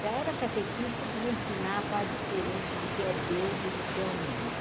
Já era catequista que já ensinava a diferença do que é Deus e do que é o mundo.